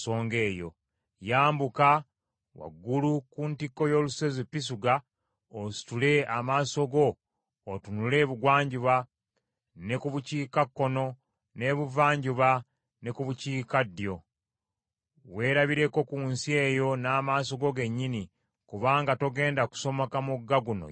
Yambuka waggulu ku ntikko y’olusozi Pisuga, ositule amaaso go otunule ebugwanjuba, ne ku bukiikakkono, n’ebuvanjuba ne ku bukiikaddyo. Weerabireko ku nsi eyo n’amaaso go gennyini, kubanga togenda kusomoka mugga guno Yoludaani.